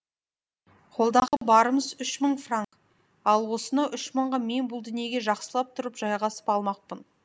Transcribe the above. қолдағы барымыз үш мың франк ал осынау үш мыңға мен бұл дүниеге жақсылап тұрып жайғасып алмақпын